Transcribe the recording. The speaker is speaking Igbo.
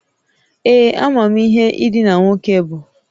Ee. Amam ihe idina nwoke bu